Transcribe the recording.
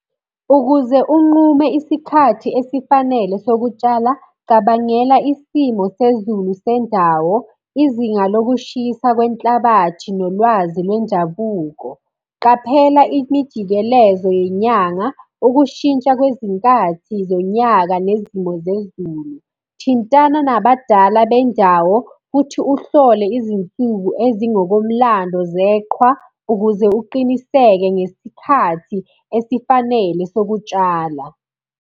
Ukuze unqume isikhathi esifanele sokutshala, cabangela isimo sezulu sendawo, izinga lokushisa kwenhlabathi, nolwazi lwendabuko. Qaphela imijikelezo yenyanga, ukushintsha kwezinkathi zonyaka nezimo zezulu. Thintana nabadala bendawo, futhi uhlole izinsuku ezingokomlando zeqhwa, ukuze uqiniseke ngesikhathi esifanele sokutshala.